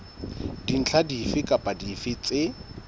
dintlha dife kapa dife tse